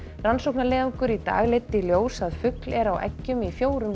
rannsóknarleiðangur í dag leiddi í ljós að fugl er á eggjum í fjórum